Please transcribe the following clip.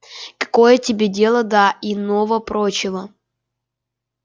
какое тебе дело до иного-прочего